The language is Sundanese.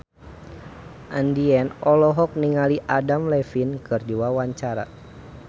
Andien olohok ningali Adam Levine keur diwawancara